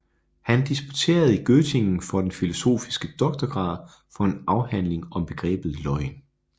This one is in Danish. Han disputerede i Göttingen for den filosofiske doktorgrad for en afhandling om begrebet løgn